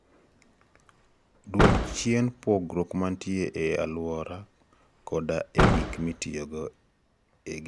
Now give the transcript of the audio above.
Dwok chien pogruok mantie e alwora koda e gik mitiyogo e gedo.